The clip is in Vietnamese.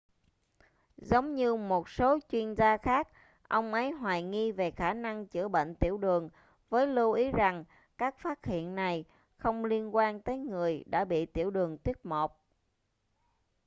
giống như một số chuyên gia khác ông ấy hoài nghi về khả năng chữa bệnh tiểu đường với lưu ý rằng các phát hiện này không liên quan tới người đã bị tiểu đường tuýp 1